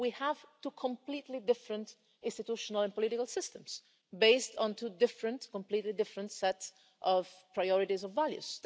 We have two completely different institutional and political systems, based on two completely different sets of priorities and values.